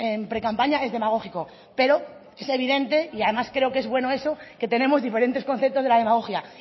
en precampaña es demagógico pero es evidente y además creo que es bueno eso que tenemos diferentes conceptos de la demagogia